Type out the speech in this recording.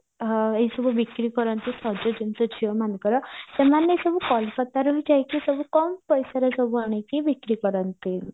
ଏଇ ସବୁ ବିକ୍ରି କରନ୍ତି ସଜ ଜିନିଷ ଝିଅମାନଙ୍କର ସେମାନେ ସବୁ କୋଲକାତାରୁ ବି ଯାଇକି ସବୁ କମ ପଇସରେ ସବୁ ଆଣିକି ବିକ୍ରି କରନ୍ତି